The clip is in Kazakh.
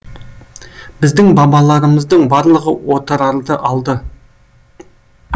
біздің бабаларымыздың барлығы отырарды алды